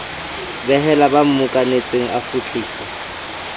behela ba mmokanetseng a kgutlisa